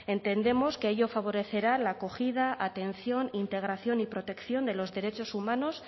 entendemos que ello favorecerá la acogida atención integración y protección de los derechos humanos